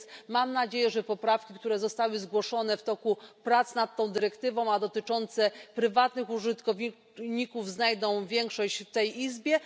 Więc mam nadzieję, że poprawki, które zostały zgłoszone w toku prac nad tą dyrektywą, a dotyczące prywatnych użytkowników, znajdą większość w tej Izbie.